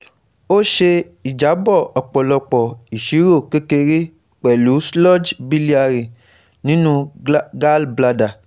Ó ṣe ìjábọ̀ ọ̀pọ̀lọpọ̀ ìṣirò kékeré pẹ̀lú sludge biliary nínú gallbladder